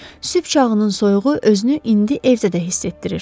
Sübh çağının soyuğu özünü indi evdə də hiss etdirirdi.